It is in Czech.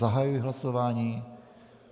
Zahajuji hlasování.